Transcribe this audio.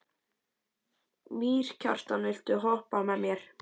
Mýrkjartan, viltu hoppa með mér?